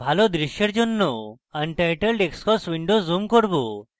ভালো দৃশ্যের জন্য untitled xcos window zoom করব